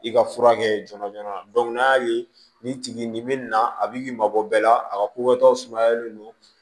I ka furakɛ joona joona n'a y'a ye nin tigi nin bɛ na a bi mabɔ bɛɛ la a ka ko wɛrɛ t'a sumayalen don